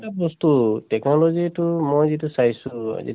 বস্তু technology টো মই যিটো চাইছো